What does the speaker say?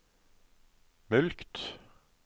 mulkt